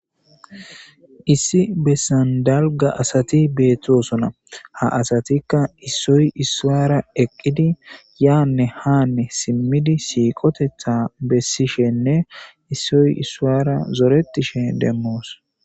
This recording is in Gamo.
issi bessan dalga asati beettosona ha asatikka issoy issuara eqqidi yaanne haanne simmidi siiqotetha bessishenne issoy issuara zoretishe demmoos